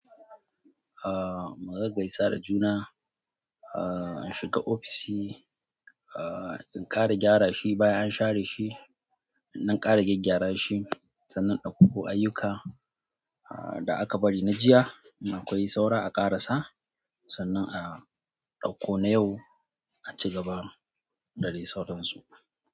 Ah, mugaggaisa da juna, ah shiga ofishi, ah in ƙara gyara shi bayan an share shi. In ɗan ƙara gyaggyara shi, sannan in ɗauko ayyuka ah da aka bari na jiya in akwai saura a ƙarasa sannan a ɗauko na yau a ci gaba da dai sauransu.